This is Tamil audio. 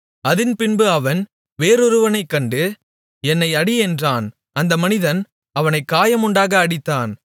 அதின்பின்பு அவன் வேறொருவனைக் கண்டு என்னை அடி என்றான் அந்த மனிதன் அவனைக் காயமுண்டாக அடித்தான்